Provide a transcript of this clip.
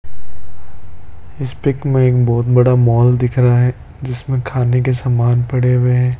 इस पिक में एक बहुत बड़ा मॉल दिख रहा है जिसमें खाने के सामान पड़े हुए हैं।